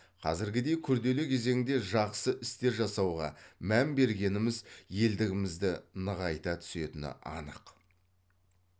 қазіргідей күрделі кезеңде жақсы істер жасауға мән бергеніміз елдігімізді нығайта түсетіні анық